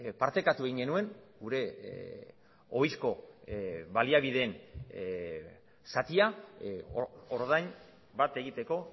partekatu egin genuen gure ohizko baliabideen zatia ordain bat egiteko